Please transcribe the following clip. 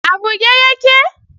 A buge yake?